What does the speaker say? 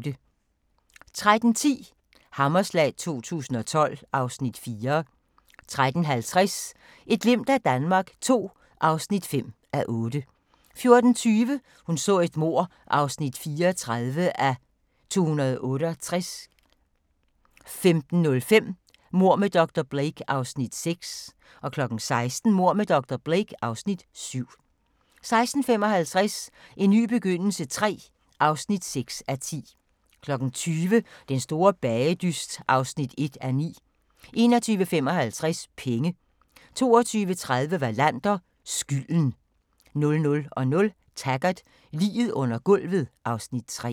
13:10: Hammerslag 2012 (Afs. 4) 13:50: Et glimt af Danmark II (5:8) 14:20: Hun så et mord (34:268) 15:05: Mord med dr. Blake (Afs. 6) 16:00: Mord med dr. Blake (Afs. 7) 16:55: En ny begyndelse III (6:10) 20:00: Den store bagedyst (1:9) 21:55: Penge 22:30: Wallander: Skylden 00:00: Taggart: Liget under gulvet (Afs. 3)